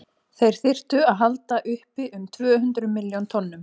þeir þyrftu að halda uppi um tvö hundruð milljón tonnum